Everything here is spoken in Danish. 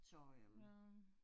Så øh